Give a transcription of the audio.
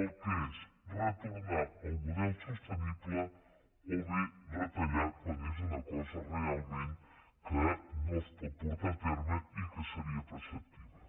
el que és retornar al model sostenible o bé retallar quan és una cosa realment que no es pot portar a terme i que seria preceptiva